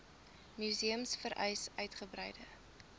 museums vereis uitgebreide